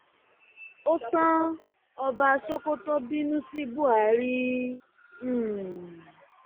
ó tan ọba sokoto bínú sí buhari um